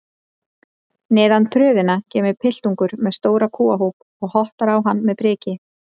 Neðan tröðina kemur piltungi með stóran kúahóp og hottar á hann með priki.